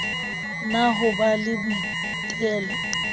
na ho ba le boitelo